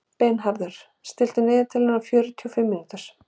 Bernharður, stilltu niðurteljara á fjörutíu og fimm mínútur.